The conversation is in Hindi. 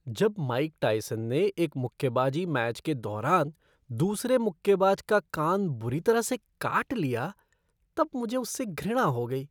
जब माइक टायसन ने एक मुक्केबाजी मैच के दौरान दूसरे मुक्केबाज का कान बुरी तरह से काट लिया तब मुझे उससे घृणा हो गई।